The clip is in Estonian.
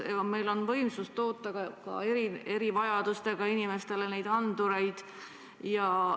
Kas meil on võimsust, et toota ka erivajadustega inimestele neid andureid?